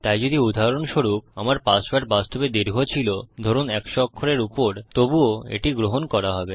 তাই যদি উদাহরণস্বরূপ আমার পাসওয়ার্ড বাস্তবে দীর্ঘ ছিল ধরুন 100 অক্ষরের উপর তবুও এটি গ্রহণ করা হবে